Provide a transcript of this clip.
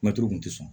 Mɛtiri kun tɛ sɔn